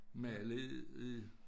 Mali i